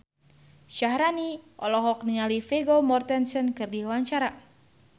Syaharani olohok ningali Vigo Mortensen keur diwawancara